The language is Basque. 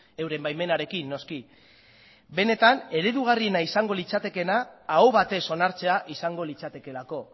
euren baimenarekin noski benetan eredugarriena izango litzatekeena aho batez onartzea izango litzatekeelako